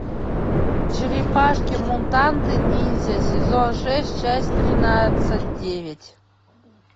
черепашки мутанты ниндзя сезон шесть часть тринадцать девять